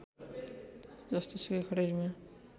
जस्तोसुकै खडेरीमा